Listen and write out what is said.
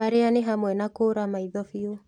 Marĩa nĩ hamwe na kũũra maitho biũ